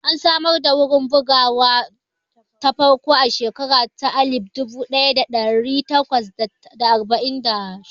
An samar da wurin bugawa ta farko a shekara ta alif dubu ɗaya da ɗari takwas da arba'in da shidda